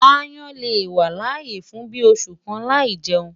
Aáyán lè wà láyé fún bíi oṣù kan láì jẹun.